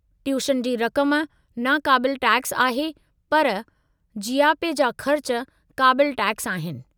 Tuition जी रक़म नाक़ाबिलु टैक्सु आहे पर जीयापे जा ख़र्च क़ाबिलु टैक्सु आहिनि।